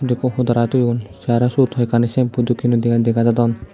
ekko hodora thoyun tey aro syot hoi ekkani shampoo dokkeno dega dega jadon.